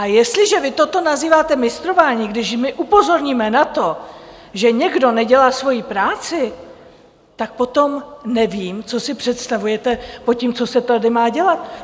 A jestliže vy toto nazýváte mistrování, když my upozorníme na to, že někdo nedělá svoji práci, tak potom nevím, co si představujete pod tím, co se tady má dělat.